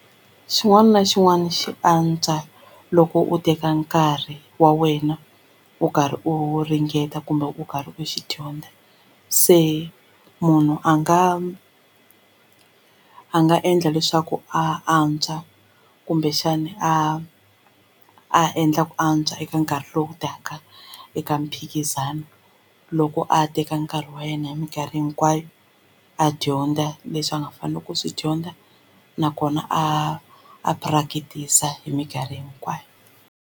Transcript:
Xin'wana na xin'wana xi antswa loko u teka nkarhi wa wena u karhi u ringeta kumbe u karhi u xi dyondza se munhu a nga a nga endla leswaku a antswa kumbexana a a endla ku antswa eka nkarhi lowu taka eka mphikizano loko a teka nkarhi wa yena hi minkarhi hinkwayo a dyondza leswi a nga faneleke ku swi dyondza nakona a a practice-a hi minkarhi hinkwayo.